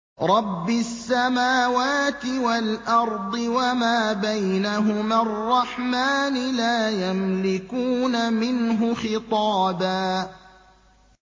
رَّبِّ السَّمَاوَاتِ وَالْأَرْضِ وَمَا بَيْنَهُمَا الرَّحْمَٰنِ ۖ لَا يَمْلِكُونَ مِنْهُ خِطَابًا